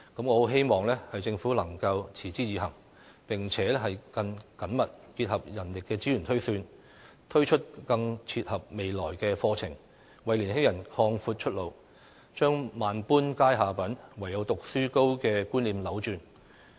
我很希望政府能夠持之以恆，並且更緊密結合人力資源推算，推出更切合未來的課程，為年輕人擴闊出路，把"萬般皆下品，唯有讀書高"的觀念扭轉。